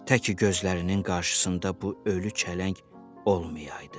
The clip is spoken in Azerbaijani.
Təki gözlərinin qarşısında bu ölü çələng olmayaydı.